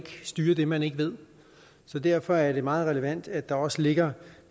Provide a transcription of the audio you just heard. styre det man ikke ved så derfor er det meget relevant at der også ligger